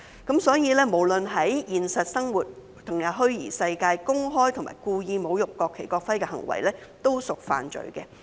因此，不論是在現實生活還是虛擬世界中公開及故意侮辱國旗及國徽的行為，均屬犯罪。